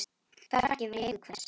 Hvaða frakki var í eigu hvers?